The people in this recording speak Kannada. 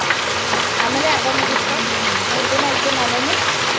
ನಮ್ಮಲ್ಲಿ .